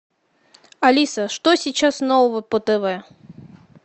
алиса что сейчас нового по тв